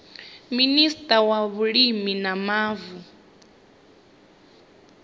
minista wa vhulimi na mavu